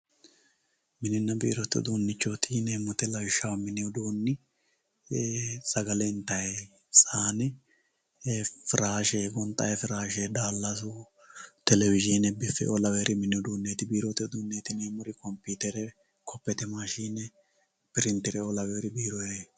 Mininna biirote udunichoti yineemo woyite lawishaho mini uduunni sagale intayi sayine, firashe gonxayi firashe, daalasu televisione, bifeoo laweyori mini uduneti biirote uduneti yineemori computere, cophete mashine ,printere laweyoreti